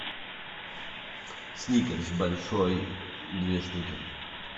сникерс большой две штуки